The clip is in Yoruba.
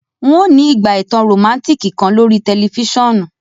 N o ni ígbà ìtàn romantic kan lorí tẹlifisiọnu